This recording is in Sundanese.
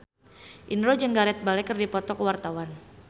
Indro jeung Gareth Bale keur dipoto ku wartawan